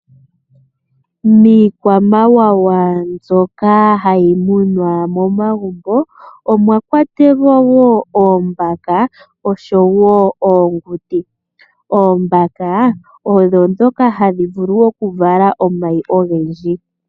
Miikwamawawa mbyoka hayi munwa momagumbo omwakwatelwa wo oombaka nosho oonguti. Oombaka odho ndhoka hadhi vulu okuvala omayi ogendji.